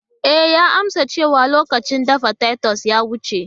E, ya amsa cewa lokacin dafa titus ya wuce.